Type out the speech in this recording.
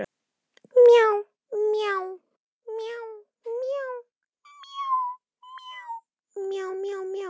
Hún er áreiðanlega góð við Lúlla.